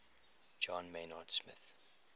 john maynard smith